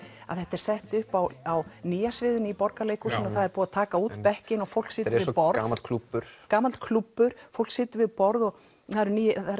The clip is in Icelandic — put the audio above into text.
að þetta er sett upp á á nýja sviðinu í Borgarleikhúsinu og það er búið að taka út bekkina og fólk situr við borð gamall klúbbur gamall klúbbur fólk situr við borð og það eru